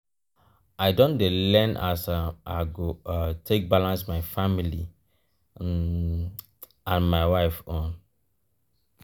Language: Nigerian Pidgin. i don dey learn as um i go um take balance my family um and my wife own.